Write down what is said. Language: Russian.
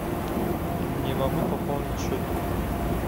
не могу пополнить счет друга